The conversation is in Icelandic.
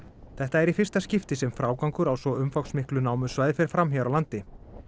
þetta er í fyrsta skipti sem frágangur á svo umfangsmiklu fer fram hér á landi